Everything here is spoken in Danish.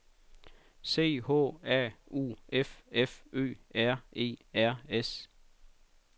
C H A U F F Ø R E R S